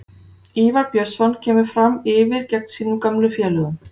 Ívar Björnsson kemur Fram yfir geng sínum gömlu félögum.